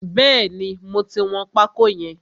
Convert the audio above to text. Bẹ́ẹ̀ni, mo ti wọn pákó yẹn.